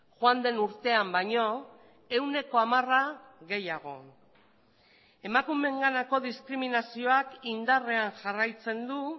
joan den urtean baino ehuneko hamara gehiago emakumeenganako diskriminazioak indarrean jarraitzen du